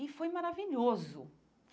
E foi maravilhoso.